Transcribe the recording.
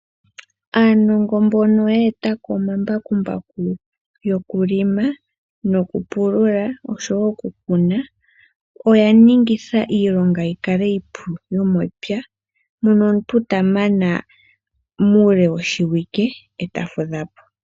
Aanongo mbono ye eta ko omambakumbaku, yoku lima, yoku pulula oshowo oku kuna, oya ningitha iilonga yi kale iipu yomepya mono omuntu ta mana muule woshiwike, eta fudha po.